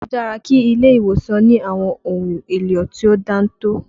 Ó dára kí ilé ìwòsàn ní àwọn ohun èlò tí ó dáńtọ́